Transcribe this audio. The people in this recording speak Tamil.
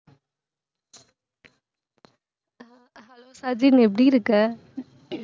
சஜின் எப்படி இருக்க?